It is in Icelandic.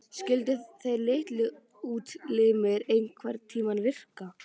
Skyldu þessir litlu útlimir einhverntíma virka?